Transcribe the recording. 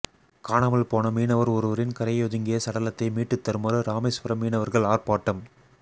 காணாமல் போன மீனவர் ஒருவரின் கரையொதுங்கிய சடலத்தை மீட்டு தருமாறு இராமேஸ்வர மீனவர்கள் ஆர்ப்பாட்டம்